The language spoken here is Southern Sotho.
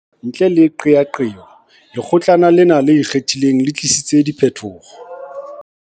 Ntle le qeaqeo, Lekgo tlana lena le Ikgethileng le tlisitse diphetoho.